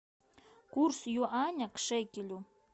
курс юаня к шекелю